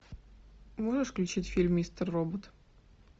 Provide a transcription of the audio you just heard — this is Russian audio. можешь включить фильм мистер робот